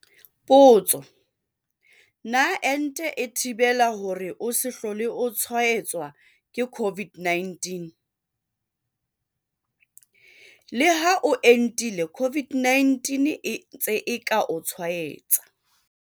Potso- Na ente e thibela hore o se hlole o tshwaetswa ke COVID-19? Leha o entile COVID-19 e ntse e ka o tshwaetsa.